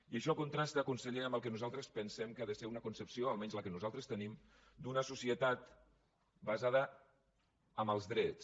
i això contrasta conseller amb el que nosaltres pensem que ha de ser una concepció almenys la que nosaltres tenim d’una societat basada en els drets